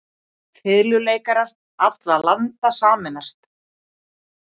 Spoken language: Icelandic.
Fiðluleikarar allra landa sameinist.